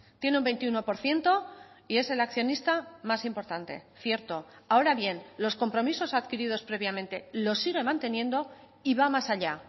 tiene un veintiuno por ciento y es el accionista más importante cierto ahora bien los compromisos adquiridos previamente los sigue manteniendo y va más allá